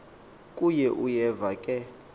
kuye uyeva ke